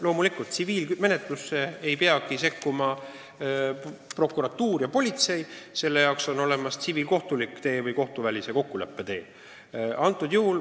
Loomulikult, tsiviilmenetlusse ei peagi prokuratuur ja politsei sekkuma, selle jaoks on olemas tsiviilkohtulik tee või kohtuvälise kokkuleppe tee.